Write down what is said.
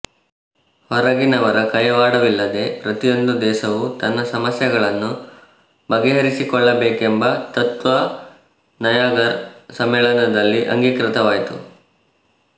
ಹೊರಗಿನವರ ಕೈವಾಡವಿಲ್ಲದೆ ಪ್ರತಿಯೊಂದು ದೇಶವೂ ತನ್ನ ಸಮಸ್ಯೆಗಳನ್ನು ಬಗೆಹರಿಸಿಕೊಳ್ಳಬೇಕೆಂಬ ತತ್ತ್ವ ನಯಾಗರ ಸಮ್ಮೇಳನದಲ್ಲಿ ಅಂಗೀಕೃತವಾಯಿತು